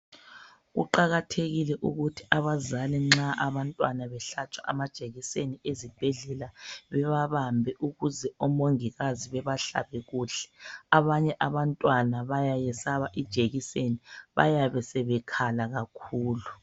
Kuqakathekile ukuthi abazali nxa abantwana behlatshwa amajekiseni ezibhedlela bebabambe ukuze omongikazi babahlabe kuhle abanye abantwana bayayesaba ijekiseni bayabe sebekhala kakhulu.